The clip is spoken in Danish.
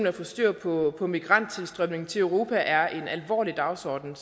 at få styr på migranttilstrømningen til europa er en alvorlig dagsorden